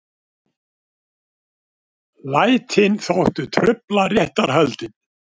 Lætin þóttu trufla réttarhöldin